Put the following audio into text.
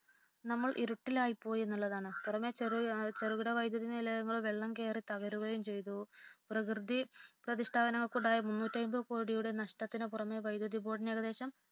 നമ്മൾ ഇരുട്ടിലായി പോയി എന്നുള്ളതാണ് പുറമേ ചെറുകിട വൈദ്യുത നിലയങ്ങൾ വെള്ളം കേറി തകരുകയും ചെയ്തു പ്രകൃതി പ്രതിഷ്ഠനത്തിനുള്ള മുന്നൂറ്റിഅൻപതു കോടി നഷ്ടത്തിനു പുറമേ വൈദ്യുത ബോർഡിനു ഏകദേശം